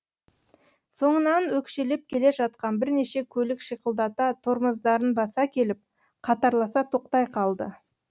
соңынан өкшелеп келе жатқан бірнеше көлік шиқылдата тормоздарын баса келіп қатарласа тоқтай қалды